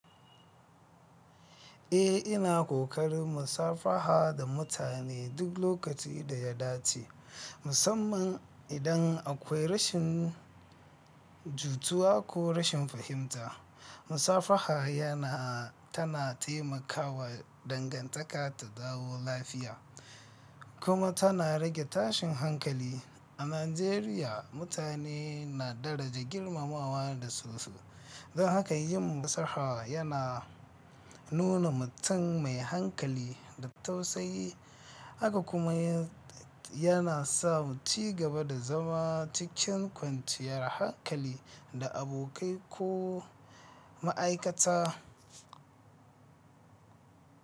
Eh, ina ƙoƙarin musafaha da mutane duk lokaci da ya dace, musamman idan akwai rashin jituwa ko rashin fahimta. Musafaha yana tana taimakawa dangantaka ta dawo lafiya kuma tana rage tashin hankali. A Najeriya, mutane na daraja girmamawa da su su, don haka yin musaha yana nuna mutum mai hankali da tausayi, haka kuma yana sa muci gaba da zama cikin kwanciyar hankali da abokai ko ma'aikata.